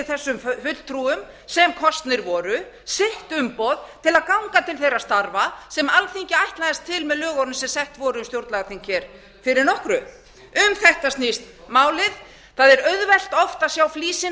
þessum fulltrúum sem kosnir voru sitt umboð til að ganga til þeirra starfa sem alþingi ætlaðist til með lögunum sem sett voru um stjórnlagaþing hér fyrir nokkru um þetta snýst málið það er auðvelt oft að sjá flísina